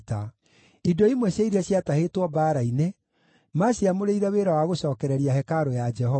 Indo imwe cia iria ciatahĩtwo mbaara-inĩ maaciamũrĩire wĩra wa gũcookereria hekarũ ya Jehova.